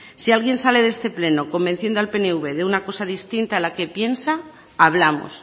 si alguien sale de este pleno convenciendo al pnv de una cosa distinta a la que piensa hablamos